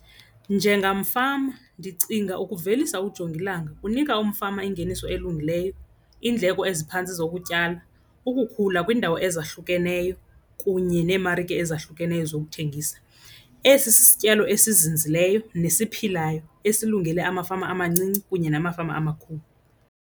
Njengamfama ndicinga ukuvelisa ujongilanga kunika umfama ingeniso elungileyo, iindleko eziphantsi zokutyala, ukukhula kwiindawo ezahlukeneyo kunye futhi neemarike ezahlukeneyo zokuthengisa. Esi sityalo esizinzileyo nesiphilayo esilungele amafama amancinci kunye namafama amakhulu.